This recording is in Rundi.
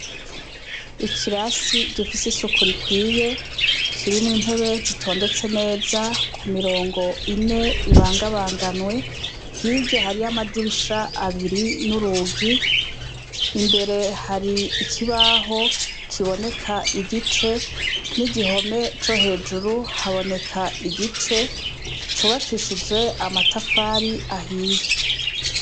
Ikirasi gifise isuku ikwiye kirimwo intebe zitonze neza kumirongo ine ibanga banganywe hirya hari amadirisha abiri nurugi imbere hari ikibaho kiboneka igice nigihome cohejuru haboneka igice cubakishijwe amatafari ahiye